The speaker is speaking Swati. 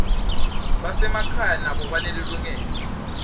basemakhaya nabo banelilungelo